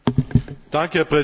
Herr Präsident!